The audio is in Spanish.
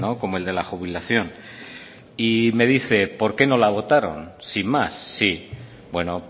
como el de la jubilación y me dice por qué no la votaron sin más sí bueno